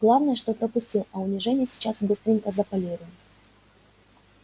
главное что пропустил а унижение сейчас быстренько заполируем